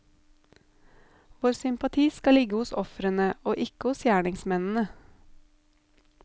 Vår sympati skal ligge hos ofrene, og ikke hos gjerningsmennene.